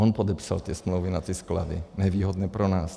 On podepsal ty smlouvy na ty sklady, nevýhodně pro nás.